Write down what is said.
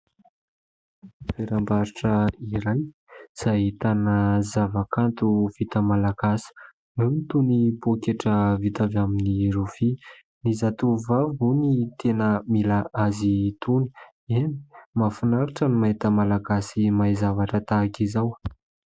Toerambarotra iray izay ahitana zava-kanto vita malagasy, eo ny toy ny poketra vita avy amin'ny rofia. Ny zatovovavy moa no tena mila azy itony. Eny ! mahafinaritra ny mahita malagasy mahay zavatra tahaka izao.